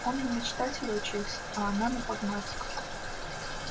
он на мечтателя учился она на прагматика